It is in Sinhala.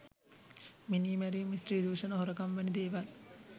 මිනීමැරීම් ස්ත්‍රී දුෂණ හොරකම් වැනි දේවල්.